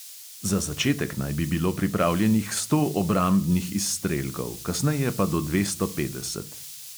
Za začetek naj bi bilo pripravljenih sto obrambnih izstrelkov, kasneje pa do dvesto petdeset.